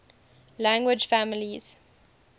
language families